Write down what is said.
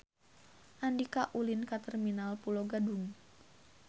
Andika ulin ka Terminal Pulo Gadung